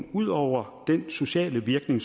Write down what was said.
ud over den sociale virkning